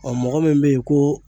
mɔgɔ min be ye ko